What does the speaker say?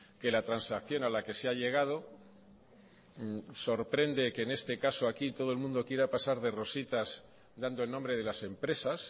que la transacción a la que se ha llegado sorprende que en este caso aquí todo el mundo quiera pasar de rositas dando el nombre de las empresas